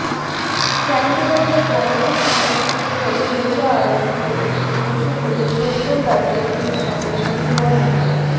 ক্যানবেরাতে Banga Sanskriti Australia আয়োজিত একটি নৈশভোজে সত্যম রায়চৌধুরির সঙ্গে সন্দীপন মিত্র